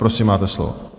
Prosím, máte slovo.